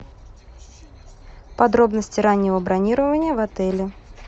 подробности раннего бронирования в отеле